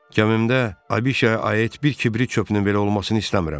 Gəmimdə abişaya aid bir kibrit çöpünün belə olmasını istəmirəm.